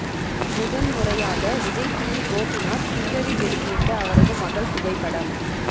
முதன் முறையாக விஜய் டிவி கோபிநாத் ட்விட்டரில் வெளியிட்ட அவரது மகள் புகைப்படம்